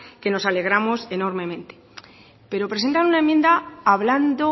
que nos alegramos enormemente pero presentan una enmienda hablando